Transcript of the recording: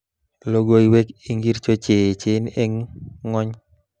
Logoiwek ingircho cheechen eng ng'ony